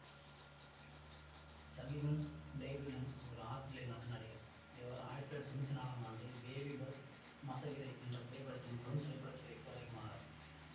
Sullivan Stapleton ஒரு Australia நாட்டு நடிகர் இவர் ஆயிரத்தி தொள்ளாயிரத்தி தொன்னூத்தி நாலாம் ஆண்டு பேபீ பத் மஸ்ஸகிரே என்ற திரைப்படத்தின் மூலம் திரைப்பட துறைக்கு அறிமுகமானார்